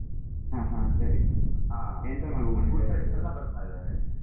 ಹ್ಮ್ ಹ್ಮ್ ಸರಿ ಎಂತ ಮಾಡ್ಕೊಂಡಿದಾರೆ ಅವ್ರು.